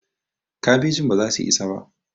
kabejin baza su isa ba